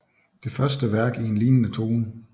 Det første værk i en lignende tone